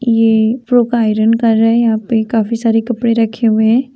ये आयरन कर रहे हैं यहाँ पे काफी सारे कपड़े रखे हुए हैं।